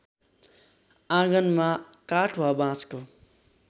आँगनमा काठ वा बाँसको